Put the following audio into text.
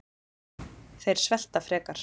Þeir svelta frekar